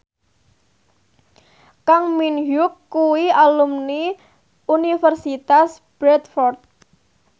Kang Min Hyuk kuwi alumni Universitas Bradford